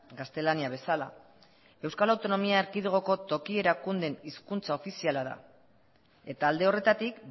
gaztelania bezala euskal autonomia erkidegoko toki erakundeen hizkuntza ofiziala da eta alde horretatik